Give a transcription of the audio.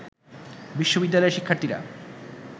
বিশ্ববিদ্যালয়ের শিক্ষার্থীরা